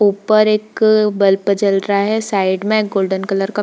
ऊपर एक बल्प जल रहा है साइड में गोल्डन कलर का --